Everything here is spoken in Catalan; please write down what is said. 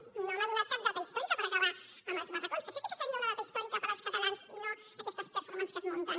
doncs no m’ha donat cap data històrica per acabar amb els barracons que això sí que seria una data històrica per als catalans i no aquestes performances que es munten